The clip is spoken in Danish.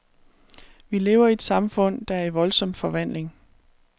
Vi lever i et samfund, der er i voldsom forvandling.